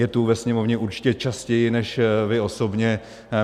Je to ve Sněmovně určitě častěji než vy osobně.